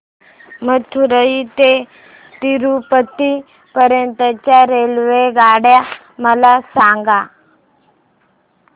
मदुरई ते तिरूपती पर्यंत च्या रेल्वेगाड्या मला सांगा